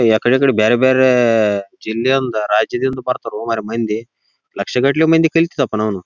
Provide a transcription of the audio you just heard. ಇಲ್ಲಿ ಮಯಿ ಮಹಿಳೆಯರು ಮತ್ತು ಪುರುಷರು ಬಂದಿದ್ದಾರೆ.